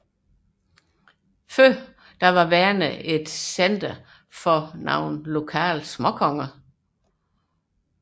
Værne var oprindelig center for lokale småkonger